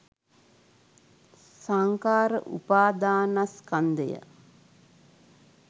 සංඛාර උපාදානස්කන්ධය